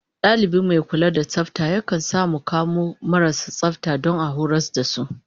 Dalibi mai kula da tsafta yakan sa mu mu kamo marasu tsafta don a horas da su